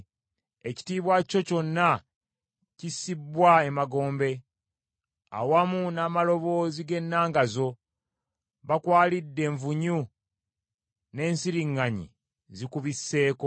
Ekitiibwa kyo kyonna kissibbwa emagombe, awamu n’amaloboozi g’ennanga zo; bakwalidde envunyu, n’ensiriŋŋanyi zikubisseeko.